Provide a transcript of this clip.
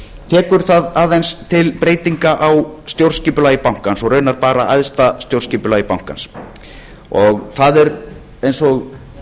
tekur það aðeins til breytinga á stjórnskipulagi bankans og raunar bara æðsta stjórnskipulagi bankans það er eins og